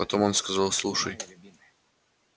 потом он сказал слушай